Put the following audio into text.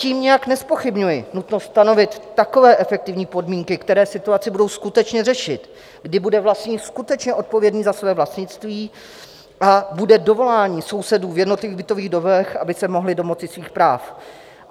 Tím nijak nezpochybňuji nutnost stanovit takové efektivní podmínky, které situaci budou skutečně řešit, kdy bude vlastník skutečně odpovědný za své vlastnictví a bude dovolání sousedů v jednotlivých bytových domech, aby se mohli domoci svých práv.